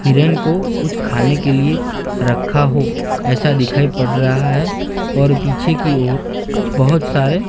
हिरन को कुछ खाने के लिए रखा हो ऐसा दिखाई पड़ रहा है और पीछे की ओर बहोत सारे--